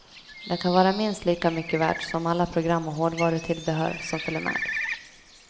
Det kan vara minst lika mycket värt som alla program och hårdvarutillbehör som följer med.